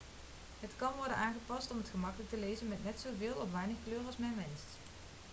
het kan worden aangepast om het gemakkelijk te lezen met net zo veel of weinig kleur als men wenst